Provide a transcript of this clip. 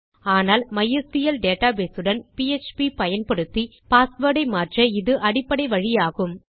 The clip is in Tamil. ஆனால் மைஸ்கிள் டேட்டாபேஸ் உடன் பிஎச்பி ஐ பயன்படுத்தி பாஸ்வேர்ட் ஐ மாற்ற இது அடிப்படை வழியாகும்